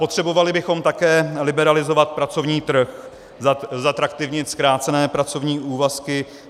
Potřebovali bychom také liberalizovat pracovní trh, zatraktivnit zkrácené pracovní úvazky.